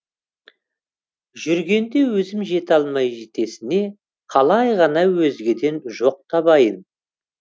жүргенде өзім жете алмай жетесіне қалай ғана өзгеден жоқ табайын